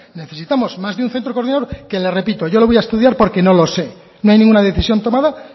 necesitamos más de un centro coordinador que le repito yo lo voy a estudiar porque no lo sé no hay ninguna decisión tomada